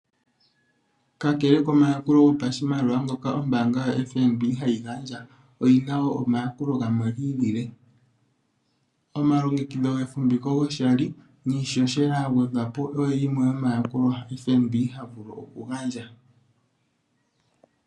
Kakele komayakulo gopashimaliwa ngoka ombaanga yoFNB hayi gandja, oyina wo omayakulo gamwe gi ilile. Omalongekidho gefumviko goshali, niishoshela ya gwedhwapo, oyo yimwe FNB havulu okugandja.